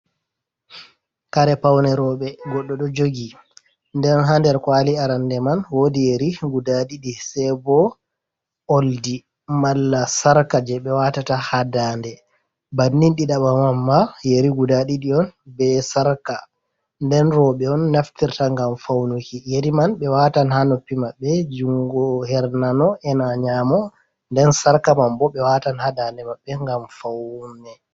Kare pawneroɓe godɗo do jogi nden ha nder kwali arande man wodi yeri guda ɗiɗi sei bo oldi mala sarka je ɓe watata hadande ,bannin ɗiɗaba mamma yeri guda ɗiɗi on be sarka nden roɓe on naftirta gam faunuki yeri man be watan ha noppi maɓɓe jungo hernano ena nyamo nden sarka man bo ɓe watan hadande maɓɓe gam faune.